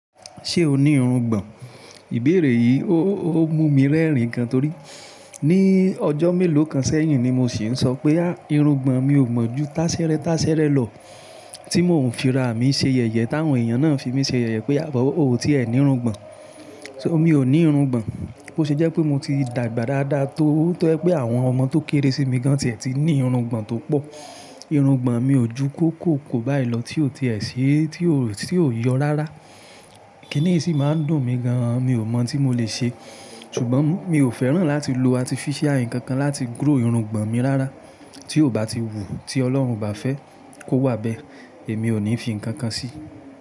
Ṣé o ní irungbọ̀n? Ìbéèrè yìí ó mú mi rẹ́rìn-ín gan-an torí ní ọjọ́ mélòó kan sẹ́yìn ni mo sì ń sọ pé "à irungbọ̀n mi ò mọ̀ ju táṣẹ́rẹ́ táṣẹ́rẹ́ lọ" tí mò ń fira mi ṣe yẹ̀yẹ́ táwọn èèyàn náà fi mí ṣe yẹ̀yẹ́ pé "àbọ̀ ó ti ẹ ní irungbọ̀n". So mi ò ní irungbọ̀n. Bó ṣe jẹ́ pé mo ti dàgbà dáda tó, tó jẹ́ pé àwọn ọmọ tó kéèrè sí mi gan ti ẹ ti ní irugbo tó pọ̀. Irungbọ̀n mi ò ju kóko kó báyìí lọ tí ó ti ẹ ṣé, tí ó yọ rárá. Kíní sì máa ń dùn mí gan-an mi ò mọ̀ tí mo lè ṣe. Ṣùgbọ́n mi ò fẹ́ràn láti lo artificial nǹkan kan láti grow irungbọ̀n mi rárá tí ò bá ti wù tí Ọlọ́run bá fẹ́ kó wà bẹ́ẹ̀ èmi ò ní fi ǹkan kan sí i.